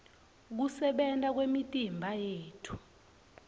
kusebenta kwemitimba yethu